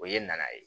O ye naanan ye